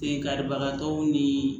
E karibagatɔw ni